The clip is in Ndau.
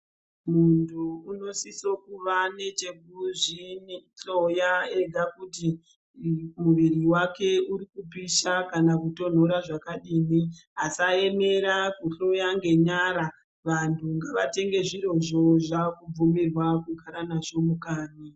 Muntu unosiso kuva nechekuzvihloya ega kuti muviri wake uri kupisha kana kutonhora zvakadini, asayemera kuhloya ngenyara, vantu ngavatenge zvirozvo zvakubvumirwa kugara nazvo mukanyi.